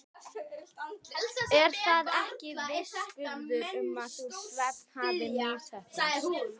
Er það ekki vitnisburður um að sú stefna hafi misheppnast?